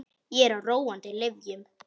Ég er á róandi lyfjum.